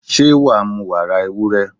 Ṣé wàá mu wàrà ewúrẹ́?